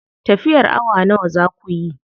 Tafiyar awa nawa za kuyi?